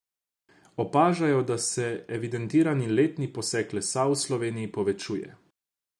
Opažajo, da se evidentirani letni posek lesa v Sloveniji povečuje.